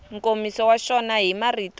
nkomiso wa xona hi marito